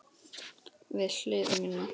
Við hlið mína.